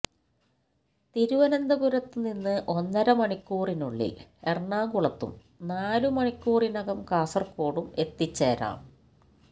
തിരുവനന്തപുരത്തുനിന്ന് ഒന്നര മണിക്കൂറിനുള്ളിൽ എറണാകുളത്തും നാലു മണിക്കൂറിനകം കാസർകോട്ടും എത്തിച്ചേരാം